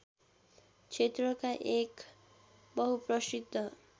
क्षेत्रका एक बहुप्रसिद्ध